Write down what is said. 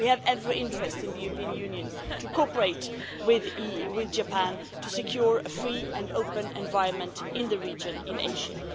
We have every interest in the European Union in cooperating with Japan to secure a free and open environment in the region in Asia.